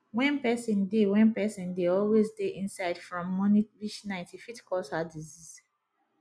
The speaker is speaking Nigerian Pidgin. when person dey when person dey always dey inside from morning reach night e fit cause heart disease